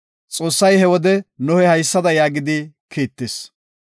Xoossay he wode Nohe haysada yaagidi kiittis;